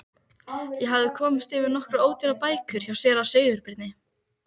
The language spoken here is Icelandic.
Ég hafði komist yfir nokkrar ódýrar bækur hjá séra Sigurbirni